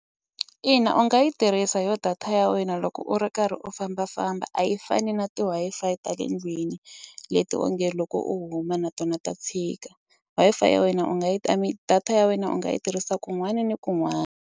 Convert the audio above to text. Ina u nga yi tirhisa yo data ya wena loko u ri karhi u fambafamba a yi fani na ti-Wi-Fi ta le ndlwini leti onge loko u huma na tona ta tshika Wi-Fi ya wena u nga yi I mean data ya wena u nga yi tirhisa kun'wana na kun'wana.